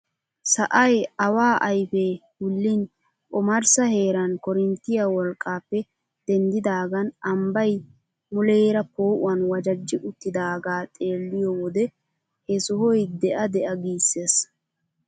Sa'ay awa ayfee wullin omarissa heeran korinttiyaa wolqqaappe denddidagan ambbay muleera poo"uwaan wajajji uttidagaa xeelliyoo wode he sohoy de'a de'a giisses!